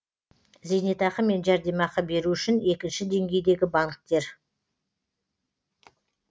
зейнетақы мен жәрдемақы беру үшін екінші деңгейдегі банктер